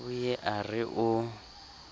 o ye a re o